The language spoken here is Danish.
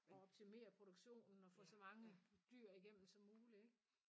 Og optimere produktionen og få så mange dyr igennem som mulig ikke